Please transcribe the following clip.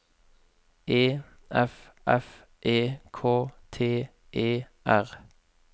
E F F E K T E R